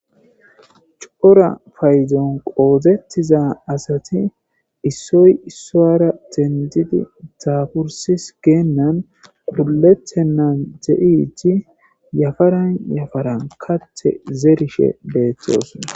cora fadon qoodettiza asati issoy issoara dendidi daafursis geennan quletennan de'idi yafaran yafaran kate zerishe beetoosona